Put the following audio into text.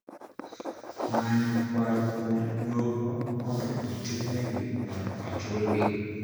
Manyo kwayo kuom doho mondo ochung`negi mondo ochulgi